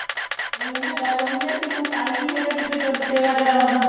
ਉਹੀ ਐ ਨਾ ਗੱਲ ਉਹੀ ਹੈ ਵੀ ਹੁਣ time ਨੀ ਹੈਗਾ ਕਿਸੇ ਕੋਲ ਸੇਵਾ ਕਰਾਉਣ ਦਾ